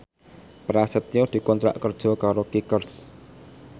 Prasetyo dikontrak kerja karo Kickers